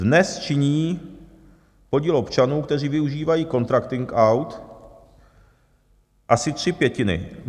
Dnes činí podíl občanů, kteří využívají contracting out, aspoň tři pětiny.